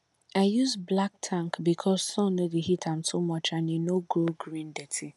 i use black tank because sun no dey heat am too much and e no grow green dirty